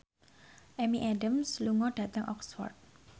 Amy Adams lunga dhateng Oxford